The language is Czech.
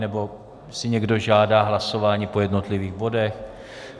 Nebo si někdo žádá hlasování po jednotlivých bodech?